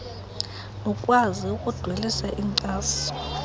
lukwazi ukudwelisa inkcaso